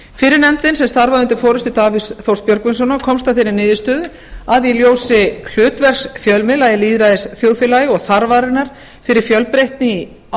fyrri nefndin sem starfaði undir forustu davíðs þórs björgvinssonar komst að þeirri niðurstöðu að í ljósi hlutverks fjölmiðla í lýðræðisþjóðfélagi og þarfarinnar fyrir fjölbreytni á